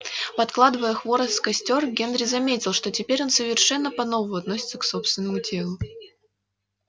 подкладывая хворост в костёр генри заметил что теперь он совершенно по новому относится к собственному телу